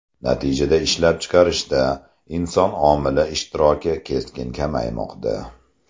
Natijada ishlab chiqarishda inson omili ishtiroki keskin kamaymoqda.